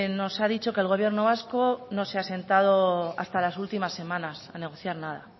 nos ha dicho que el gobierno vasco no se ha sentado hasta las últimas semanas a negociar nada